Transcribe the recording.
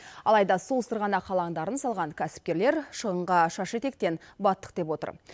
алайда сол сырғанақ алаңдарын салған кәсіпкерлер шығынға шаш етектен баттық деп отыр